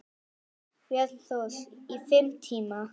Björn Thors: Í fimm tíma?